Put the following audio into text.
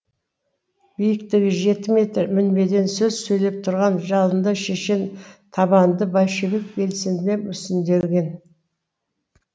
биіктігі жеті метр мінбеден сөз сөйлеп тұрған жалынды шешен табанды большевик белсендіде мүсінделген